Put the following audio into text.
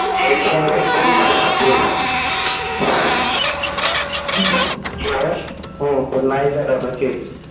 নাই কাটাতো এটা ঠিক